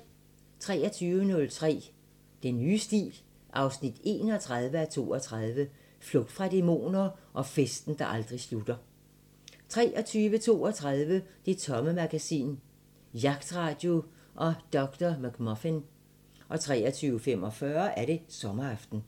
23:03: Den nye stil 31:32 – Flugt fra dæmoner og festen, der aldrig slutter... 23:32: Det Tomme Magasin: Jagtradio og Dr. McMuffin 23:45: Sommeraften